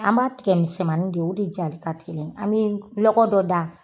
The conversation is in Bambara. An b'a tigɛ misɛnmanin de ye o de jali ka teli an bɛ lɔgɔ dɔ da.